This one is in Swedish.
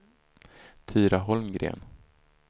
Tyra Holmgren